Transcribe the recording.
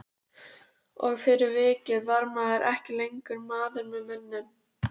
Og fyrir vikið var maður ekki lengur maður með mönnum.